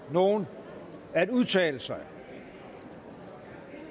nogen at udtale sig